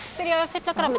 byrja á að fylla á grænmeti